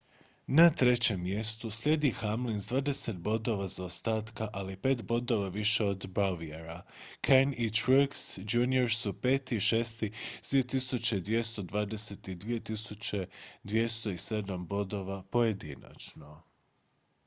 na trećem mjestu slijedi hamlin s dvadeset bodova zaostataka ali pet bodova više od bowyera kahne i truex jr su pet i šesti s 2.220 i 2.207 bodova pojedinačno